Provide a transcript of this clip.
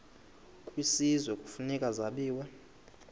kwisizwe kufuneka zabiwe